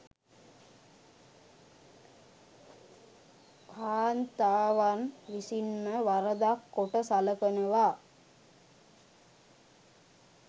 කාන්තාවන් විසින්ම වරදක් කොට සලකනවා